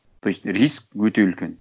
то есть риск өте үлкен